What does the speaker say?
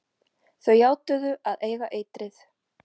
Þau játuðu að eiga eitrið.